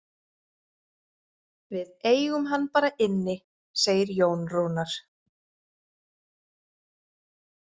Við eigum hann bara inni, segir Jón Rúnar.